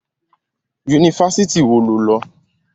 Yunifásitì wo lo lọ?